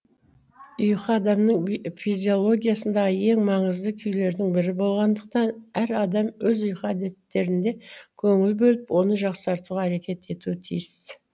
ұйқы адамның физиологиясындағы ең маңызды күйлердің бірі болғандықтан әр адам өз ұйқы әдеттерінде көңіл бөліп оны жақсартуға әрекет етуі тиіс